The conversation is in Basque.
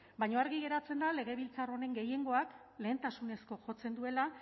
baina argi geratzen da legebiltzar honen gehiengoak lehentasunezko jotzen duela